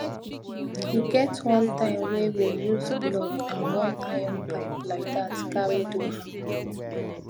e get one time were we use block and one iron pipe like dat carry do harmmer